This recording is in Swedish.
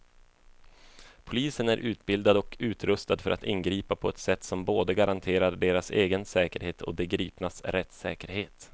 Polisen är utbildad och utrustad för att ingripa på ett sätt som både garanterar deras egen säkerhet och de gripnas rättssäkerhet.